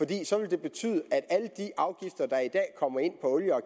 det så ville betyde at erstattet alle de afgifter der i dag kommer ind på olie og